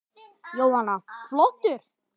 Jóhanna: Flottur?